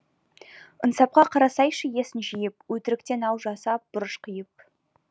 ынсапқа қарасайшы есің жиып өтіріктен ау жасап бұрыш қиып